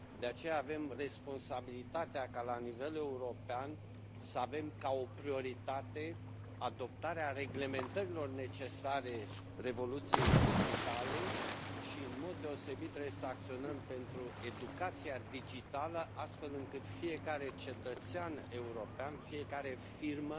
De aceea, avem responsabilitatea ca, la nivel european, să avem ca o prioritate adoptarea reglementărilor necesare revoluției digitale și, în mod deosebit, trebuie acționăm pentru educația digitală, astfel încât fiecare cetățean european, fiecare firmă